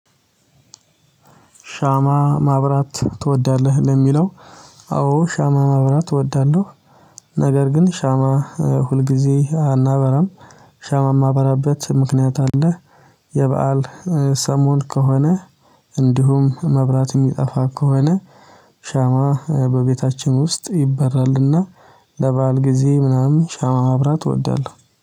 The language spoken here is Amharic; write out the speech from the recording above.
ሻማ ማብራት ትወዳለህ ለሚለው? አዎ ሻማ ማብራት ትወዳለህ። ነገር ግን ሻማ ሁልጊዜ አናበራም ሻማ የማበራበት ምክንያት አለ። የበአል ሰሞን ከሆነ እንዲሁም መብራት የሚጠፋ ከሆነ። በቤታችን ውስጥ ይበራልና። ለበአል ጊዜ ምናምን ሻማ ማብራት እወዳለሁ